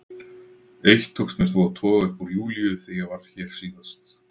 Eitt tókst mér þó að toga upp úr Júlíu þegar ég var hér síðast.